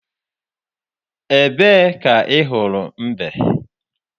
Ebee ka ị hụrụ mbe?